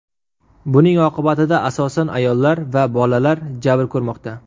Buning oqibatida, asosan, ayollar va bolalar jabr ko‘rmoqda.